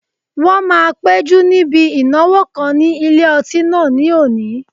Wọ́n máa péjú níbi ìnáwó kan ní ilé ọtí náà ní òní